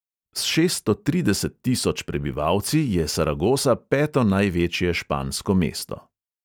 S šeststo trideset tisoč prebivalci je saragosa peto največje špansko mesto.